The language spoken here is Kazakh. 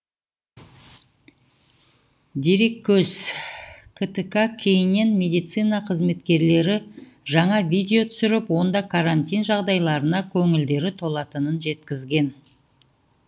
дереккөз ктк кейіннен медицина қызметкерлері жаңа видео түсіріп онда карантин жағдайларына көңілдері толатынын жеткізген